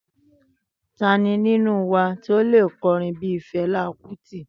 Tani ninu wa ti o le korin bii Fẹla Kuti?